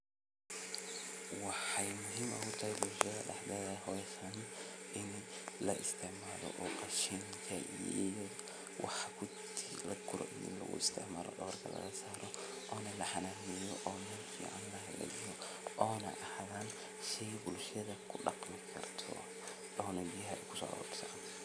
Marka wacyigelinta la sameeyo, talaabada labaad waxay noqonaysaa in la diyaariyo dhul ku habboon beeraleynta. Bulshada waa in laga qaybgeliyo diyaarinta beerta, iyagoo loo qaybiyo shaqooyinka sida nadiifinta dhulka, qodista godadka lagu beerayo, iyo diyaarinta abuurka la rabo in la beero. Intaa kadib, waa in la helo tababarro lagu baranayo sida ugu fiican ee loo beero geedaha ama dalagyada la doonayo. Tababarradan waxaa laga heli karaa khubaro deegaanka ah ama hay’adaha ka shaqeeya arrimaha beeraleynta.